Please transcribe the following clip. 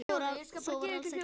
Svo var alls ekki.